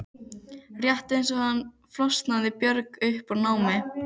Rétt eins og hann flosnaði Björg upp úr námi.